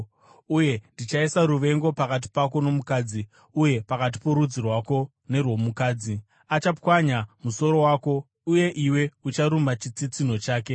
Uye ndichaisa ruvengo pakati pako nomukadzi, uye pakati porudzi rwako nerwomukadzi; achapwanya musoro wako, uye iwe ucharuma chitsitsinho chake.”